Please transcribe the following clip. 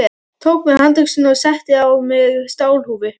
Tók mér handöxi og setti á mig stálhúfu.